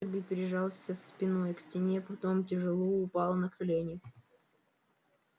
эрби прижался спиной к стене потом тяжело упал на колени